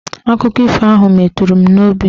Akụkọ ifo ahụ meturu m n'obi